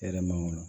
E yɛrɛ man wolo